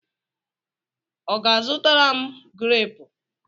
Ọ ga-azụtara m greepu?